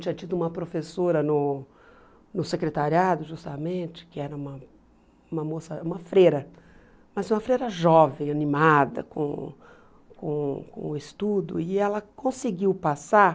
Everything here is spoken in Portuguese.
Tinha tido uma professora no no secretariado, justamente, que era uma uma moça, uma freira, mas uma freira jovem, animada com com com o estudo, e ela conseguiu passar.